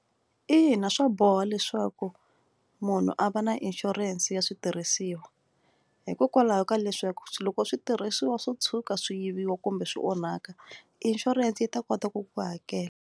Ina swa boha leswaku munhu a va na inshurense ya switirhisiwa hikokwalaho ka leswaku loko switirhisiwa swo tshuka swi yiviwa kumbe swi onhaka insurance yi ta kota ku ku hakela.